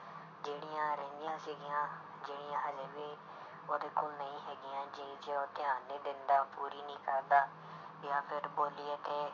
ਜਿਹੜੀਆਂ ਰਹਿੰਦੀਆਂ ਸੀਗੀਆਂ ਜਿਹੜੀਆਂ ਹਾਲੇ ਵੀ ਉਹਦੇ ਕੋਲ ਨਹੀਂ ਹੈਗੀਆਂ ਜਿਹ 'ਚ ਉਹ ਧਿਆਨ ਨਹੀਂ ਦਿੰਦਾ ਪੂਰੀ ਨੀ ਕਰਦਾ ਜਾਂ ਫਿਰ ਬੋਲੀਏ ਤੇ